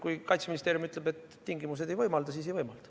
Kui Kaitseministeerium ütleb, et tingimused seda ei võimalda, siis ei võimalda.